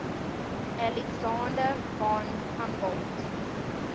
alexander von humboldt